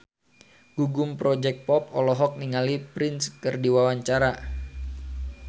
Gugum Project Pop olohok ningali Prince keur diwawancara